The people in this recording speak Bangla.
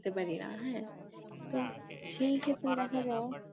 পারি না হ্যাঁ তো সেই ক্ষেত্রে দেখা যায়